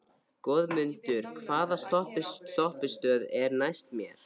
Goðmundur, hvaða stoppistöð er næst mér?